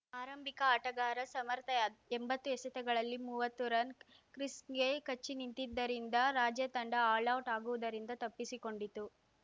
ಆರಂಭಿಕ ಆಟಗಾರ ಸಮರ್ಥ್ಎಂಬತ್ತು ಎಸೆತಗಳಲ್ಲಿ ಮುವತ್ತು ರನ್‌ ಕ್ರೀಸ್‌ಗೆ ಕಚ್ಚಿನಿಂತಿದ್ದರಿಂದ ರಾಜ್ಯ ತಂಡ ಆಲೌಟ್‌ ಆಗುವುದರಿಂದ ತಪ್ಪಿಸಿಕೊಂಡಿತು